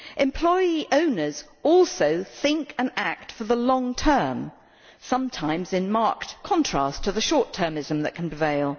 Employee owners also think and act for the long term, sometimes in marked contrast to the short termism that can prevail.